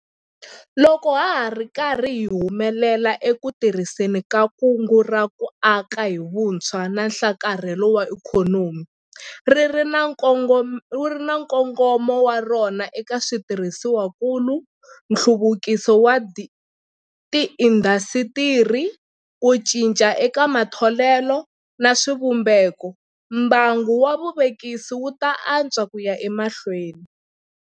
Loko hi ri karhi hi humelela eku tirhiseni ka Kungu ra ku Aka hi Vutshwa na Nhlakarhelo wa Ikhonomi - ri ri na nkongomo wa rona eka switirhisiwakulu, nhluvukiso wa tiindasitiri, ku cinca eka matholelo na swivumbeko - mbangu wa vuvekisi wu ta antswa ku ya emahlweni.